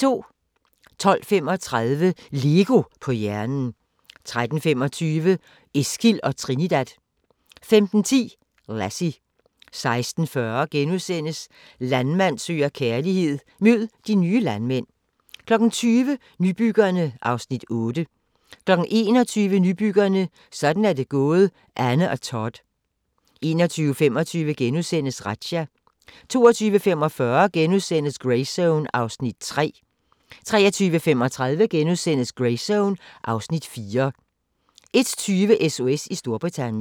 12:35: LEGO på hjernen 13:25: Eskil & Trinidad 15:10: Lassie 16:40: Landmand søger kærlighed - mød de nye landmænd * 20:00: Nybyggerne (Afs. 8) 21:00: Nybyggerne: Sådan er det gået Anne og Todd 21:25: Razzia * 22:45: Greyzone (Afs. 3)* 23:35: Greyzone (Afs. 4)* 01:20: SOS i Storbritannien